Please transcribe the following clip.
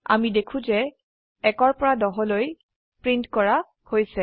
আমি দেখো যে 1 পৰা 10 পৰ্যন্তলৈ প্ৰীন্ট কৰা হৈছে